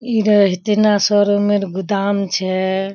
इ रहे हेते ना शोरूम मेर गुदाम छै।